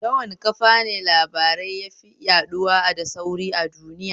Ta wane kafane labarai yafi yaɗuwa da sauri a duinya?